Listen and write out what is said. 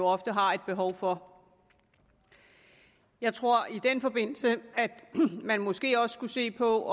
ofte har et behov for jeg tror i den forbindelse at man måske også skulle se på